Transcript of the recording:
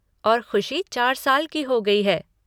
और खुशी चार साल की हो गई है।